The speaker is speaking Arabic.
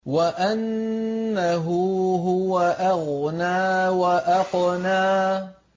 وَأَنَّهُ هُوَ أَغْنَىٰ وَأَقْنَىٰ